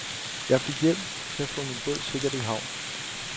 Jeg fik hjælp til at få min båd sikkert i havn.